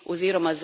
oziroma